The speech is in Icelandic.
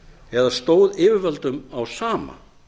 eða stóð yfirvöldum á sama